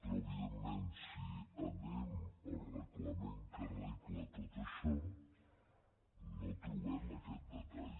però evidentment si anem al reglament que regla tot això no trobem aquest detall